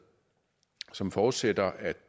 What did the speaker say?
og som forudsætter at